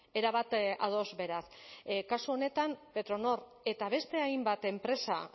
erabat ados beraz kasu honetan petronor eta beste hainbat enpresa